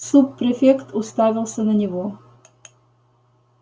суб-префект уставился на него